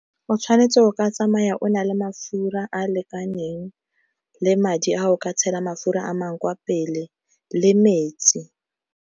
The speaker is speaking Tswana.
O tshwanetse o ka tsamaya o na le mafura a a lekaneng, le madi a o ka tshela mafura a mangwe kwa pele, le metsi.